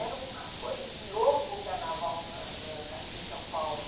Era uma coisa de louco o carnaval na na aqui em São Paulo.